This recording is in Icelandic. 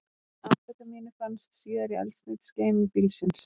Amfetamínið fannst síðar í eldsneytisgeymi bílsins